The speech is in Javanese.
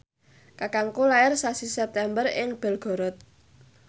kakangku lair sasi September ing Belgorod